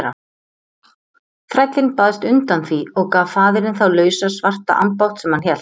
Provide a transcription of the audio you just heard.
Þrællinn baðst undan því og gaf faðirinn þá lausa svarta ambátt sem hann hélt.